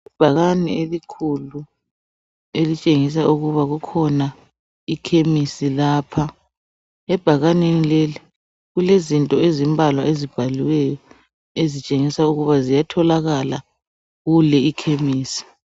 Ibhakane elikhulu elitshengisa ukuba kukhona ikhemisi lapha , ebhakaneni leli , kulezinto ezimbalwa ezibhaliweyo ezitshengisa ukuba ziyatholakala kule ikhemisi